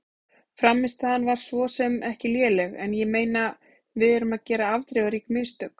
Frammistaðan var svo sem ekki léleg en ég meina við erum að gera afdrifarík mistök.